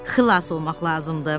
Xilas olmaq lazımdır.